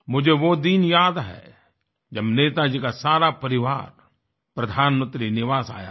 मुझे वो दिन याद है जब नेताजी का सारा परिवार प्रधानमंत्री निवास आया था